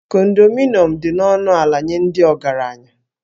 Kondominiụm dị ọnụ ala nye ndị ọgaranya